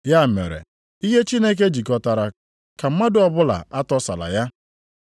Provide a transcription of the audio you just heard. Ya mere, ihe Chineke jikọtara, ka mmadụ ọbụla atọsala ya.”